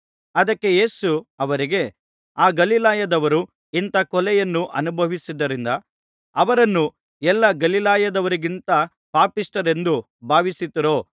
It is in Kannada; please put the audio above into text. ಅದಕ್ಕೆ ಯೇಸು ಅವರಿಗೆ ಆ ಗಲಿಲಾಯದವರು ಇಂಥಾ ಕೊಲೆಯನ್ನು ಅನುಭವಿಸಿದ್ದರಿಂದ ಅವರನ್ನು ಎಲ್ಲಾ ಗಲಿಲಾಯದವರಿಗಿಂತ ಪಾಪಿಷ್ಠರೆಂದು ಭಾವಿಸುತ್ತೀರೋ